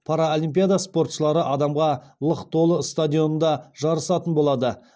паралимпиада спортшылары адамға лық толы стадионда жарысатын болады